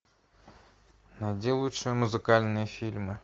найди лучшие музыкальные фильмы